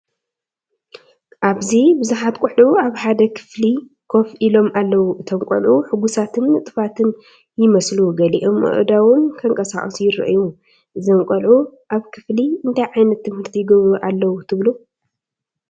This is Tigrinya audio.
ኣብዚ ብዙሓት ቆልዑ ኣብ ሓደ ክፍሊ ኮፍ ኢሎም ኣለዉ። እቶም ቆልዑ ሕጉሳትን ንጡፋትን ይመስሉ፣ ገሊኦም ኣእዳዎም ከንቀሳቕሱ ይረኣዩ። እዞም ቆልዑ ኣብ ክፍሊ እንታይ ዓይነት ትምህርቲ ይገብሩ ኣለዉ ትብሉ?